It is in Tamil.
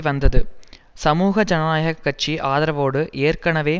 வந்தது சமூக ஜனநாயக கட்சி ஆதரவோடு ஏற்கனவே